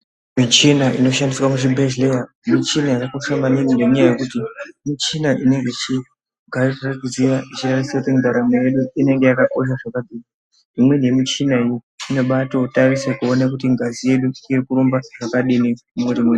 Michina inochandiswa muzvibhedhleya muchina yakakosha maningi ngenyaya yekuti muchina inenge ichigadzira kuziya cheya kuti ndaramo yedu inenge yakakosha zvakadini imweni yemuchina wo inonatarise kuone kuti ngazi yedu iri kurumba zvakadini mwiri we......